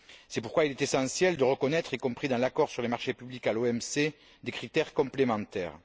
C'est pourquoi il est essentiel de reconnaître, y compris dans l'accord sur les marchés publics à l'OMC, des critères complémentaires.